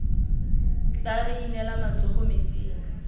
tla re inela matsogo metsing